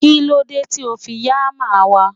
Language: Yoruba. kilode ti o fi ya hammer wa